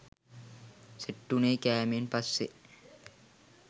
set වුණේ කෑමෙන් පස්සෙ